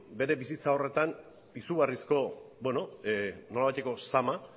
bere bizitza horretan izugarrizko nolabaiteko zama